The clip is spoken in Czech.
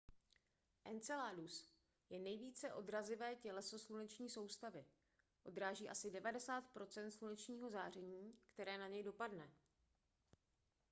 enceladus je nejvíce odrazivé těleso sluneční soustavy odráží asi 90 procent slunečního záření které na něj dopadne